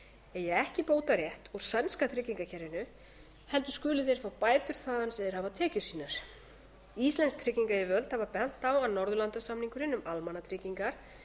eigi ekki bótarétt úr sænska tryggingakerfinu heldur skuli þeir fá bætur þaðan sem þeir hafa tekjur sínar íslensk tryggingayfirvöld hafa bent á að norðurlandasamningurinn um almannatryggingar